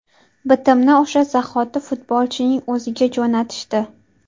Bitimni o‘sha zahoti futbolchining o‘ziga jo‘natishdi.